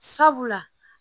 Sabula